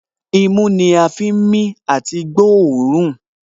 Imú ni a fi ń mí àti gbóòórùn